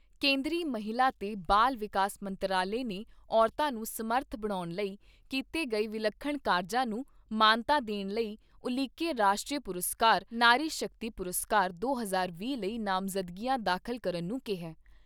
ਕੇਂਦਰੀ ਮਹਿਲਾ ਤੇ ਬਾਲ ਵਿਕਾਸ ਮੰਤਰਾਲੇ ਨੇ ਔਰਤਾਂ ਨੂੰ ਸਮਰੱਥ ਬਣਾਉਣ ਲਈ ਕੀਤੇ ਗਏ ਵਿਲੱਖਣ ਕਾਰਜਾਂ ਨੂੰ ਮਾਨਤਾ ਦੇਣ ਲਈ ਉਲੀਕੇ ਰਾਸ਼ਟਰੀ ਪੁਰਸਕਾਰ, ਨਾਰੀ ਸ਼ਕਤੀ ਪੁਰਸਕਾਰ ਦੋ ਹਜ਼ਾਰ ਵੀਹ ਲਈ ਨਾਮਜਦਗੀਆਂ ਦਾਖਲ ਕਰਨ ਨੂੰ ਕਿਹਾ ।